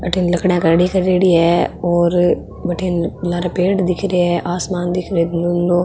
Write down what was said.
अठन लकड़ियां खड़ी करेड़ी है और भटीन लार पेड़ दिख रा है आसमान दिख रो है नीलो।